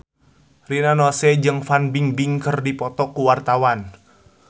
Rina Nose jeung Fan Bingbing keur dipoto ku wartawan